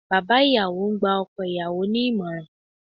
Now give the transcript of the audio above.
Bàbá ìyàwó ń gba ọkọ ìyàwó ní ìmọ̀ràn